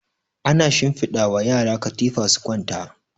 ana shinfiɗa wa yara katifa su kwanta